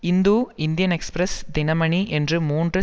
Hindu Indian express Dinamani என்று மூன்று